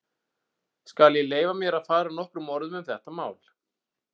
Skal ég leyfa mér að fara nokkrum orðum um þetta mál.